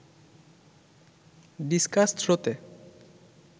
discuss থ্রোতে